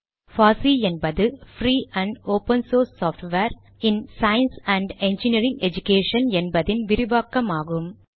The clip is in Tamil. பாசி என்பது free and open source software in science and engineering education என்பதின் விரிவாக்கமாகும்